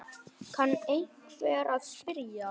kann einhver að spyrja.